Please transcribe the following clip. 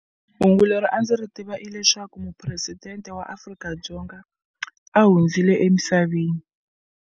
Hungu leri a ndzi ri tiva i leswaku mupresidente wa Afrika-Dzonga a hundzile emisaveni.